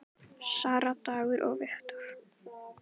Sara, Dagur og Victor.